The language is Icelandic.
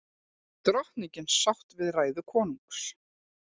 Drottningin sátt við ræðu konungs